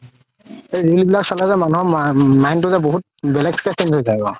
এই ৰিল বিলাক চালে যে মানুহৰ mind তো যে বহুত বেলেগকে changes আহিব